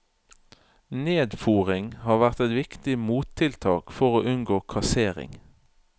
Nedfôring har vært et viktig mottiltak for å unngå kassering.